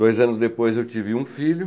Dois anos depois eu tive um filho.